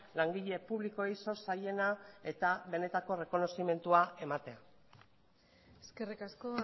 langile publikoei zor zaiena eta benetako errekonozimendua ematera eskerrik asko